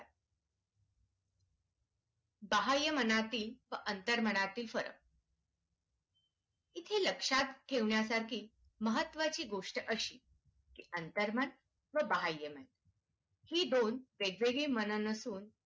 साहाय्य मनातील अंतर मनातील स्वर इथे लक्षात ठेवण्या सारखी महत्त्वाची गोष्ट अशी की अंतर्भाग बाह्य ही दोन वेगवेगळी मन नसून